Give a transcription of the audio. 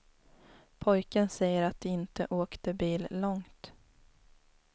Pojken säger att de inte åkte bil långt.